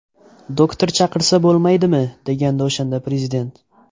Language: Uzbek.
Doktor chaqirsa bo‘lmaydimi?”, degandi o‘shanda Prezident.